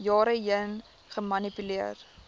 jare heen gemanipuleer